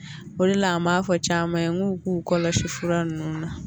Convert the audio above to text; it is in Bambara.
O de la an b'a fɔ caman ye n k'u k'u kɔlɔsi fura ninnu na